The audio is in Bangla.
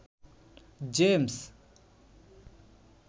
জেমস